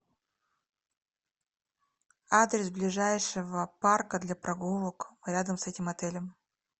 адрес ближайшего парка для прогулок рядом с этим отелем